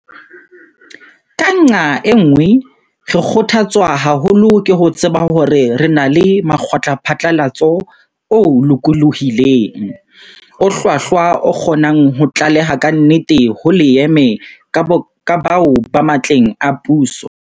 Ka nqa e nngwe, re kgotha tswa haholo ke ho tseba hore re na le mokgwaphatlalatso o lokolohileng, o hlwahlwa o kgonang ho tlaleha kantle ho leeme ka bao ba matleng a puso, ka ditaba tse hlokolosi tsa setjhaba tsa nakong ena ya rona, le ho fana ka tlhahisoleseding e nepahetseng, e hlokang leeme ho setjhaba.